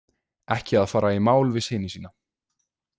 Ekki að fara í mál við syni sína.